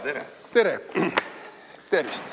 Tere!